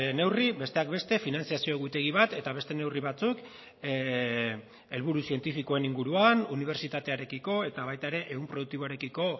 neurri besteak beste finantzazio egutegi bat eta beste neurri batzuk helburu zientifikoen inguruan unibertsitatearekiko eta baita ere ehun produktiboarekiko